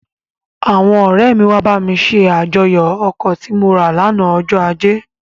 Àwọn ọ̀rẹ́ mi wá bá mi ṣe àjọyọ̀ ọkọ̀ tí mo rà lánàá ọjọ ajé,